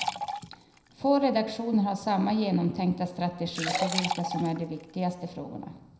Få redaktioner har samma genomtänkta strategi för vilka som är de viktigaste frågorna.